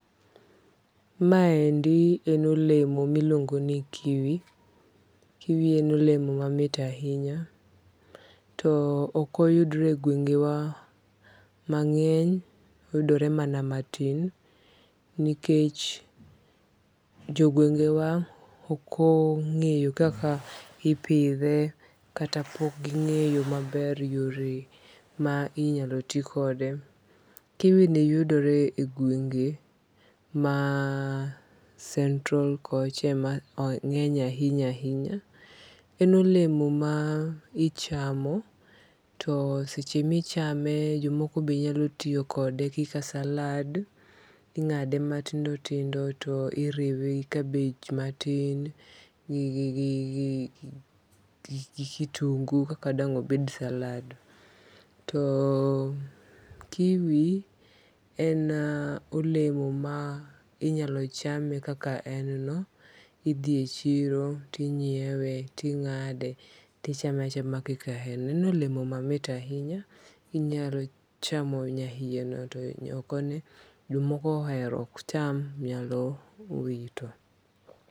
Ma endi en olemo miluongo ni kiwi. Kiwi en olemo mamit ahinya. To ok oyudre e gwenge wa mang'eny. Oyudore mana matin. Nikech jogwenge wa ok ong'eyo kaka ipidhe kata pok ging'eyo maber yore ma inyalo ti koode. Kiwi ni yudore e gwenge ma central kocha ema ong'enye ahinya ahinya. En olemo ma ichamo to seche michame jomokobe nyalo tiyokode kaka salad. Ing'ade matindo tindo to iriwe gi kabej matin gi kitundu e kaka dang' obed salad. To kiwi en olemo ma inyalo chame kaka en no. Idhie chiro tinyiewe ting'ade tichame achama kaka en no. En olemo mamit ahinya. Inyalo chamo nyaiye no to oko ne jomoko ohero ok nyam nyalo wito.